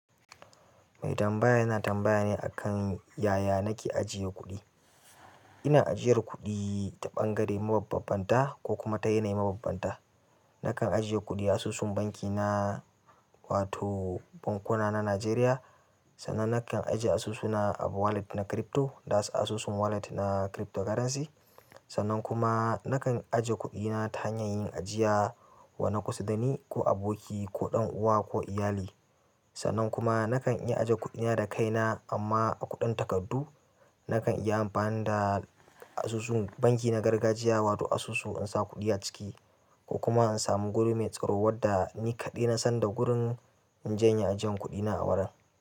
Mai tambaya yana tambaya ne akan yaya nake ajiye kuɗi. Ina ajiyar kuɗi ta ɓangare mababbanta ko kuma ta yanayi mababbanta. Nakan ajiye kuɗi a asusun banki na wato bankuna na Najeriya. Sannan nakan ajiye asusuna a wallet na crypto, da su asusun wallet na cryptocurrency. Sannan kuma nakan ajiye kuɗina ta hanyar yin ajiya wa na kusa dani ko aboki ko ɗan uwa ko iyali. Sannan kuma nakan iya ajiye kuɗina da kaina amma a kuɗin takardu. Nakan iya amfani da asusun banki na na gargajiya wato asusu insa kuɗi aciki ko kuma in samu guri mai staro wanda ni kaɗai nasan da gurin inje inyi ajiyan kuɗina a wannan wurin.